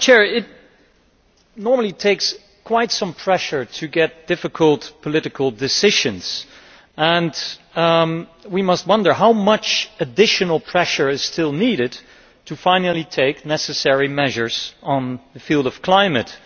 It normally takes quite some pressure to get difficult political decisions and we must wonder how much additional pressure is still needed to finally take necessary measures in the field of climate.